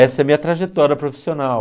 Essa é minha trajetória profissional.